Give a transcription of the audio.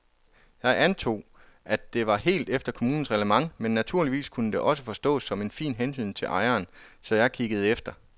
Jeg antog, at det var helt efter kommunens reglement men naturligvis kunne det også forstås som en fin hentydning til ejeren, så jeg kiggede efter.